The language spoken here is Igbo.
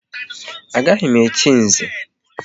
Agaghị m echi Nze!